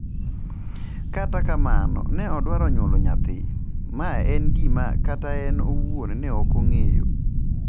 Kata kamano, ne odwaro nyuolo nyathi, ma en gima kata en owuon ne ok ong’eyo.